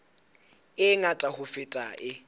e ngata ho feta e